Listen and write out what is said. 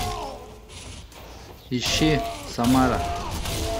ищи самара